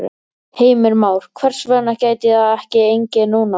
Heimir Már: Hvers vegna gæti það ekki gengið núna?